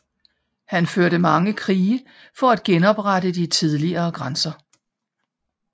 Han førte mange krige for at genoprette de tidligere grænser